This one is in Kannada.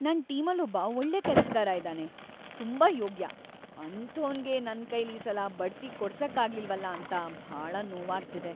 ನನ್‌ ಟೀಮಲ್ಲೊಬ್ಬ ಒಳ್ಳೆ ಕೆಲ್ಸ್‌ಗಾರ ಇದಾನೆ, ತುಂಬಾ ಯೋಗ್ಯ.. ಅಂಥೋನ್ಗೆ ನನ್ಕೈಲೀಸಲ ಬಡ್ತಿ ಕೊಡ್ಸಕ್ಕಾಗ್ಲಿಲ್ವಲ ಅಂತ ಭಾಳ ನೋವಾಗ್ತಿದೆ.